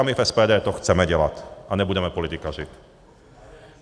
A my v SPD to chceme dělat a nebudeme politikařit.